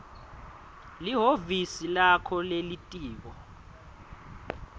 lihhovisi lakho lelitiko